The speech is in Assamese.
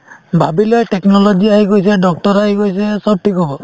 ভাবিলে technology আহি গৈছে doctor ৰ আহি গৈছে চব ঠিক হব